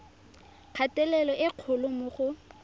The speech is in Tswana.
kgatelelo e kgolo mo go